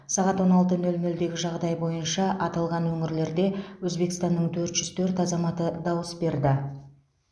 сағат он алты нөл нөлдегі жағдай бойынша аталған өңірлерде өзбекстанның төрт жүз төрт азаматы дауыс берді